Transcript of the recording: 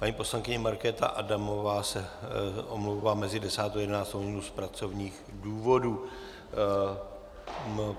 Paní poslankyně Markéta Adamová se omlouvá mezi 10. a 11. hodinou z pracovních důvodů.